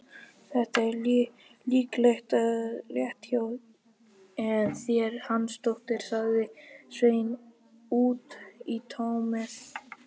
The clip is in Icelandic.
Þetta er líklega rétt hjá þér, Hansdóttir, sagði Sveinn út í tómið.